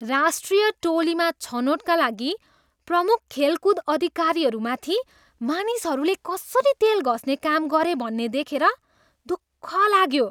राष्ट्रिय टोलीमा छनोटका लागि प्रमुख खेलकुद अधिकारीहरूमाथि मानिसहरूले कसरी तेल घस्ने काम गरे भन्ने देखेर दुःख लाग्यो।